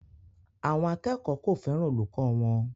Àwọn akẹ́kọ̀ọ́ kò fẹ́ràn olùkọ́ wọn